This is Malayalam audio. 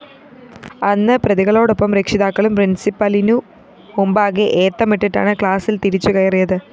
അന്ന് പ്രതികളോടൊപ്പം രക്ഷിതാക്കളും പ്രിന്‍സിപ്പലിനു മുമ്പാകെ ഏത്തമിട്ടിട്ടാണ് ക്ലാസ്സില്‍ തിരിച്ചുകയറിയത്